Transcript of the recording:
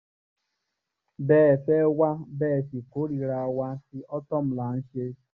bẹ́ ẹ fẹ́ wá bẹ́ ẹ sì kórìíra wa tí ortom là ń ṣe